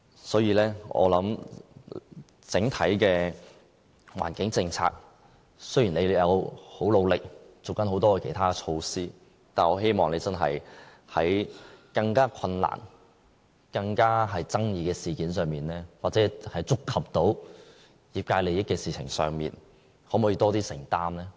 所以，我想整體的環境政策，雖然當局已經很努力，推行很多其他措施，但我希望當局在更困難、更具爭議的事件上，或觸及業界利益的事情上，可否作出更多承擔呢？